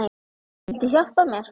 Viltu hjálpa mér?